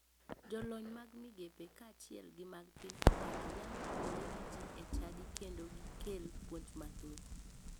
Jolony mag migepe kachiel gi mag piny owacho nyalo tudore gi ji e chadi kendo gikel puonj mathoth.